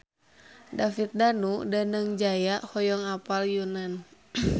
David Danu Danangjaya hoyong apal Yunan